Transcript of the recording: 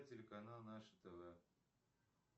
телеканал наше тв